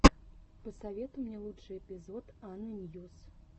посоветуй мне лучший эпизод анны ньюс